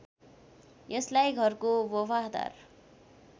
यसलाई घरको बफादार